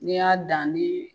N'e y'a dan ni